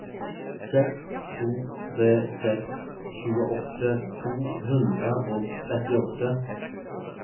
seks to tre seks tjueåtte to hundre og trettiåtte